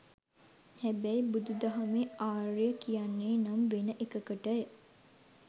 හැබැයි බුදු දහමේ ආර්ය කියන්නේ නම් වෙන එකකට.